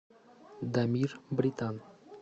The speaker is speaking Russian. дамир британ